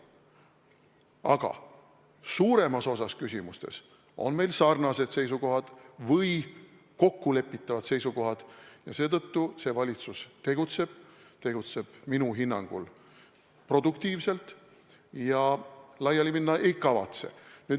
Aga suuremas osas küsimustes on meil sarnased seisukohad või kokkulepitavad seisukohad ja seetõttu see valitsus tegutseb minu hinnangul produktiivselt ja laiali minna ei kavatse.